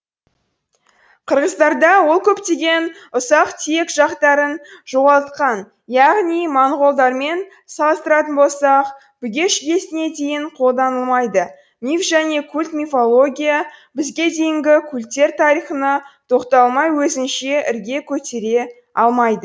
қырғыздарда ол көптеген ұсақ түйек жақтарын жоғалтқан яғни моңғолдармен салыстыратын болсақ бүге шігесіне дейін қолданылмайды миф және культ мифология бізге дейінгі культтер тарихына тоқталмай өзінше ірге көтере алмайды